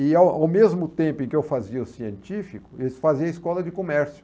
E ao ao mesmo tempo em que eu fazia o científico, eles faziam a escola de comércio.